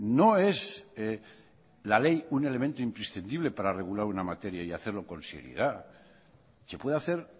no es la ley un elemento imprescindible para regular una materia y hacerlo con seriedad se puede hacer